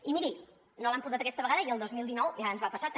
i miri no l’han portat aquesta vegada i el dos mil dinou ja ens va passar també